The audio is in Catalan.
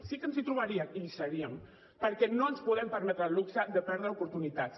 sí que ens hi trobarien i hi seríem perquè no ens podem permetre el luxe de perdre oportunitats